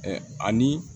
ani